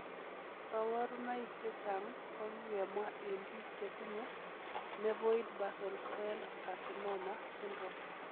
Koborunoik chechang' kokikemwa en biik chetinye Nevoid basal cell carcinoma syndrome.